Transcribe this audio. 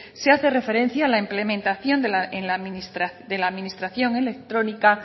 se hace referencia a la implementación de la administración electrónica